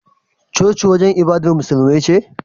Coci wajan ibadar musulmai ce